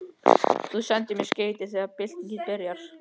Þú sendir mér skeyti þegar byltingin byrjar.